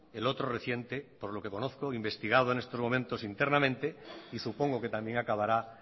el otro reciente por lo que conozco investigado en estos momentos internamente y supongo que también acabará